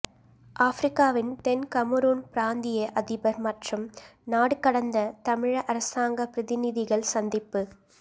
ஆபிரிக்காவின் தென் கமறூன் பிராந்திய அதிபர் மற்றும் நாடுகடந்த தமிழீழ அரசாங்கப் பிரதிநிதிகள் சந்திப்பு